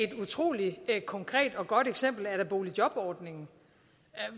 et utrolig konkret og godt eksempel er da boligjobordningen